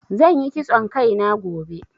Zan yi kitson Kai na gobe.